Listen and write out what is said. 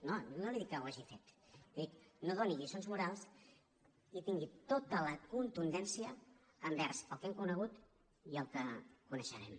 no li dic que ho hagi fet li dic no doni lliçons morals i tingui tota la contundència envers el que hem conegut i el que coneixerem